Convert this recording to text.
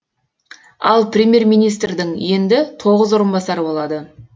ал преьмьер министрдің енді тоғыз орынбасары болады